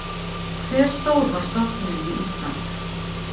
Hve stór var stofninn við Ísland?